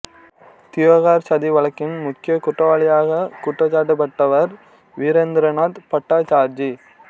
தியோகார் சதி வழக்கின் முக்கியக் குற்றவாளியாகக் குற்றஞ்சாட்டப்பட்டவர் வீரேந்திரநாத் பட்டாச்சார்ஜி